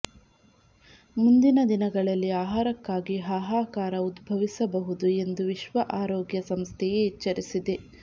ಮುಂದಿನ ದಿನಗಳಲ್ಲಿ ಆಹಾರಕ್ಕಾಗಿ ಹಾಹಾಕಾರ ಉದ್ಭವಿಸಬಹುದು ಎಂದು ವಿಶ್ವ ಆರೋಗ್ಯ ಸಂಸ್ಥೆಯೇ ಎಚ್ಚರಿಸಿದೆ